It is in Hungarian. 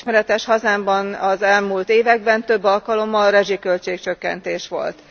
Mint ismeretes, hazámban az elmúlt években több alkalommal is rezsiköltség csökkentés volt.